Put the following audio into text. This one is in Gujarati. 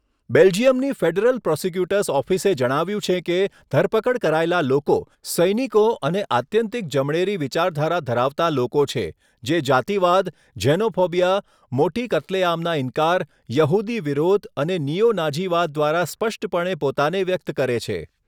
બેલ્જિયમની ફેડરલ પ્રોસીક્યુટર્સ ઑફિસે જણાવ્યું છે કે ધરપકડ કરાયેલા લોકો 'સૈનિકો અને આત્યંતિક જમણેરી વિચારધારા ધરાવતાં લોકો છે જે જાતિવાદ, ઝેનોફોબિયા, મોટી કત્લેઆમના ઇનકાર, યહૂદી વિરોધ અને નિયો નાઝીવાદ દ્વારા સ્પષ્ટપણે પોતાને વ્યક્ત કરે છે'.